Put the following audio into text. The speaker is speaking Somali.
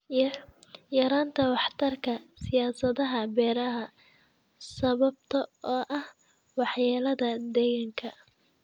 Yaraynta waxtarka siyaasadaha beeraha sababtoo ah waxyeelada deegaanka.